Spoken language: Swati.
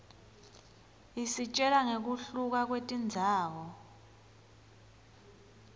isitjela nqekuhluka kwetindzawo